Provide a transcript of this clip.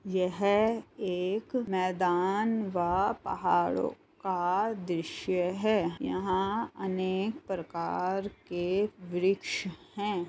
यह एक मैदान व पहाड़ो का दृश्य है यहाँ अनेक प्रकार के वृक्ष हैं।